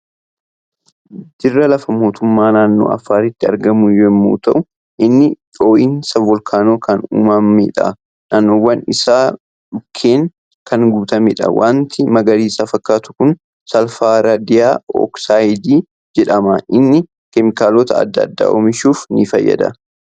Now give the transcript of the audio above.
Dirra lafaa mootummaa naannoo Affaaritti argamu yemmuu ta'u inni dhoo'insa voolkaanoon kan uumameedha. Naannawwan isaa dhukkeen kan guutameedha. Wanti magariisa fakkaatu kun saalfardaay oksaayiidii jedhama. Inni keemikaalota adda addaa oomishuuf fayyada.